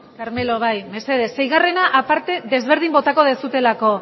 carmelo bai mesedez seigarrena aparte desberdin botako dezutelako